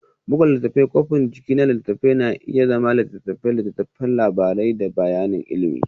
Buga Littattafai Kwafin jiki na littattafai na iya zama litattafai, littattafan labari da kayan ilimi.